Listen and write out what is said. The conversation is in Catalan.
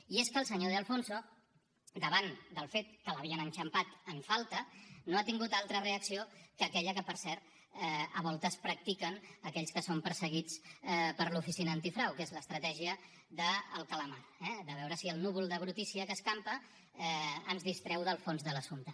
i és que el senyor de alfonso davant del fet que l’havien enxampat en falta no ha tingut altra reacció que aquella que per cert a voltes practiquen aquells que són perseguits per l’oficina antifrau que és l’estratègia del calamar eh de veure si el núvol de brutícia que escampa ens distreu del fons de l’assumpte